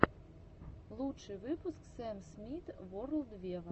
лучший выпуск сэм смит ворлд вево